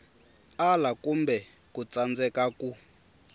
ala kumbe ku tsandzeka ku